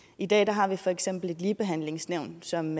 i dag har vi for eksempel ligebehandlingsnævnet som